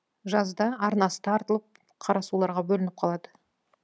жазда арнасы тартылып қарасуларға бөлініп қалады